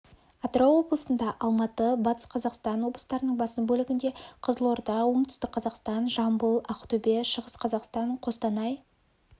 атырау облысында алматы батыс қазақстан облыстарының басым бөлігінде қызылорда оңтүстік қазақстан жамбыл ақтөбе шығыс қазақстан қостанай